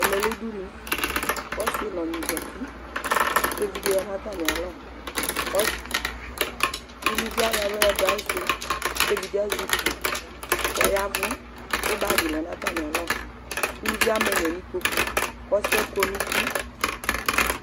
Ɛmɛ lɛ udunu, ku ɔsi nu ɔgni zati, ku evidze ya nu ata mialɔ, kɔsi, uluvie ayɔ aɣla yadu ayisi ku evidze azɛ ukpii, kɔyavu, ku bagui lɛ nu ata mialɔ, uluvie ama ɛnyɔ nu ikpoku, ku ɔsiɛ kɔnu uti